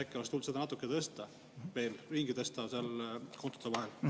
Äkki oleks tulnud seda natuke tõsta, veel ringi tõsta seal kontode vahel?